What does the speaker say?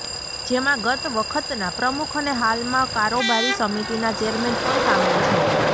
જેમાં ગત વખતના પ્રમુખ અને હાલમાં કારોબારી સમિતિના ચેરમેન પણ સામેલ છે